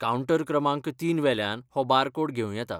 Counter क्रमांक तीन वेल्यान हो बारकोड घेवं येता.